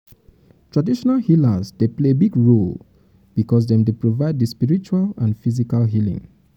traditional healers dey play big role because dem dey provide di spiritual and physical healing.